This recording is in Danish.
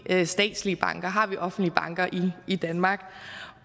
har statslige banker har vi offentlige banker i danmark